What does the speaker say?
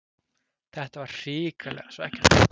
Þetta var hrikalega svekkjandi